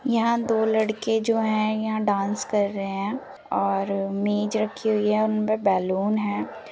यहाँ दो लड़के जो है यहाँ डांस कर रहे है और मेज रखी हुई है उन पर बेलून है